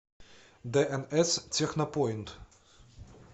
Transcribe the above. дээнэс технопоинт